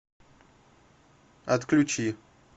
отключи